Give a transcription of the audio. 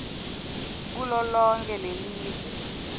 kulo lonkhe lelive